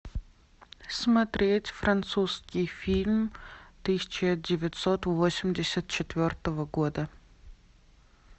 смотреть французский фильм тысяча девятьсот восемьдесят четвертого года